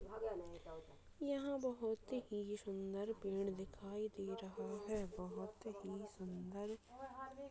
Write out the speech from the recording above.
यहाँ बहुत ही सुन्दर पेड़ दिखाई दे रहा है बहुत ही सुन्दर।